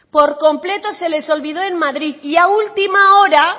por completo se les olvidó en madrid y a última hora